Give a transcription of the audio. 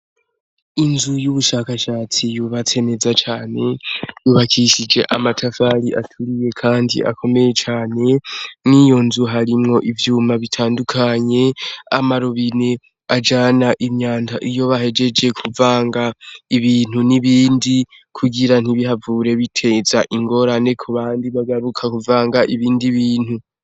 Inzu yubushakashatsi yubatse neza cane yubakishije amatafari aturiye kandi akomeye cane mwiyonzu harimwo ivyuma bitandukanye, amarobine ajana imyanda iyo bahejeje kuvanga ibintu n'ibindi kugira ntibihavure biteza ingorane kubandi bagaruka kuvanga ibindi bintu.